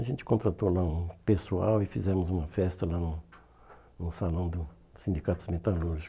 A gente contratou lá um pessoal e fizemos uma festa lá no no Salão dos Sindicatos Metalúrgicos.